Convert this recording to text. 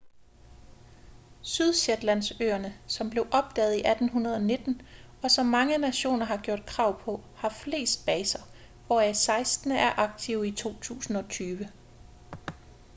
sydshetlandsøerne som blev opdaget i 1819 og som mange nationer har gjort krav på har flest baser hvoraf seksten er aktive i 2020